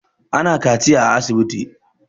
Ana kaciya a asibiti